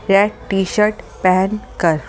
red T shirt पहन कर --